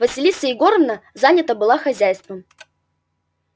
василиса егоровна занята была хозяйством